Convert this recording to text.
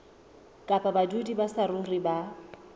kapa badudi ba saruri ba